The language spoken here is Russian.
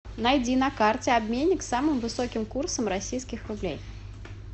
найди на карте обменник с самым высоким курсом российских рублей